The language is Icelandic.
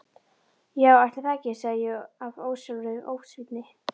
Já ætli það ekki, sagði ég af ósjálfráðri ósvífni.